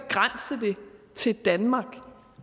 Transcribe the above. til danmark